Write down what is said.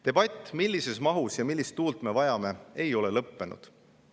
Debatt selle üle, millises mahus millist tuult me vajame, ei ole lõppenud.